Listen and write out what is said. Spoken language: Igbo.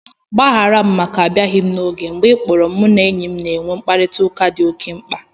Gbaghara m maka abịaghị n' oge m. Mgbe ị kpọrọ m, mụ na enyi m na-enwe mkparịtaụka dị oke mkpa